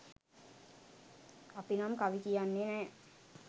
අපි නම් කවි කියන්නේ නෑ